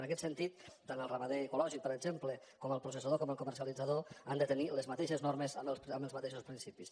en aquest sentit tant el ramader ecològic per exemple com el processador com el comercialitzador han de tenir les mateixes normes amb els mateixos principis